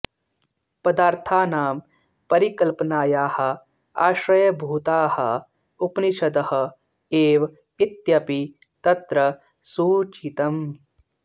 पदार्थानां परिकल्पनायाः आश्रयभूताः उपनिषदः एव इत्यपि तत्र सूचितम्